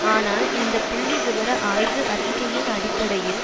ஆனால் இந்த புள்ளி விபர ஆய்வு அறிக்கையின் அடிப்படையில்